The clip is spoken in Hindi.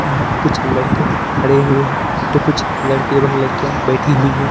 यहां कुछ लड़के खड़े हुए हैं तो कुछ लड़के एवं लड़कियां बैठे हुई हैं।